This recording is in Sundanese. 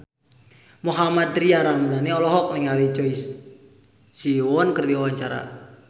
Mohammad Tria Ramadhani olohok ningali Choi Siwon keur diwawancara